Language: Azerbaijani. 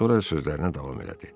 Sonra sözlərinə davam elədi.